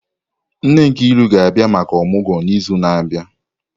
Nne Nkiru ga-abia maka omugwo n'izu na-abịa.